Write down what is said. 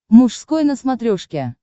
мужской на смотрешке